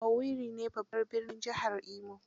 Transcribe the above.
Owerri ne babbar birnin jihar Imo